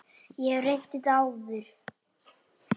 Ég hef reynt þetta áður.